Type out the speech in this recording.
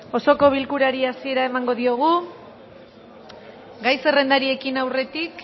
osoko bilkurari hasiera emango diogu gai zerrendari ekin aurretik